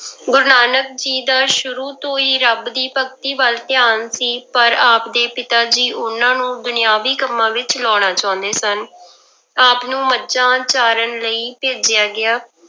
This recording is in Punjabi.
ਗੁਰੂ ਨਾਨਕ ਜੀ ਦਾ ਸ਼ੁਰੂ ਤੋਂ ਹੀ ਰੱਬ ਦੀ ਭਗਤੀ ਵੱਲ ਧਿਆਾਨ ਸੀ ਪਰ ਆਪਦੇ ਪਿਤਾ ਜੀ ਉਹਨਾਂ ਨੂੰ ਦੁਨੀਆਵੀ ਕੰਮਾਂ ਵਿੱਚ ਲਾਉਣਾ ਚਾਹੁੰਦੇ ਸਨ ਆਪ ਨੂੰ ਮੱਝਾਂ ਚਾਰਨ ਲਈ ਭੇਜਿਆ ਗਿਆ।